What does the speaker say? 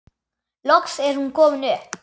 Loks er hún komin upp.